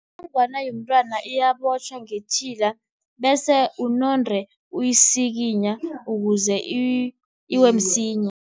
Inongwana yomntwana iyabotjhwa ngetjhila, bese unande uyisikinya ukuze iwe msinya.